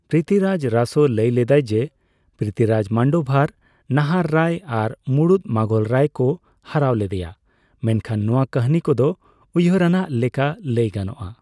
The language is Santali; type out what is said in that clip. ᱯᱨᱤᱛᱤᱨᱟᱡ ᱨᱟᱥᱳ ᱞᱟᱹᱭ ᱞᱮᱫᱟᱭ ᱡᱮ, ᱯᱨᱤᱛᱤᱨᱟᱡ ᱢᱟᱱᱰᱳᱵᱷᱟᱨ ᱱᱟᱦᱟᱨ ᱨᱟᱭ ᱟᱨ ᱢᱩᱬᱩᱛ ᱢᱩᱜᱷᱚᱞ ᱨᱟᱭ ᱠᱚ ᱦᱟᱨᱟᱹᱣ ᱞᱮᱫᱟᱭᱟ, ᱢᱮᱱᱠᱷᱟᱱ ᱱᱚᱣᱟ ᱠᱟᱹᱦᱱᱤ ᱠᱚᱫᱚ ᱭᱩᱦᱟᱨᱟᱱᱜ ᱞᱮᱠᱟ ᱞᱟᱹᱭ ᱜᱟᱱᱚᱜ ᱟ ᱾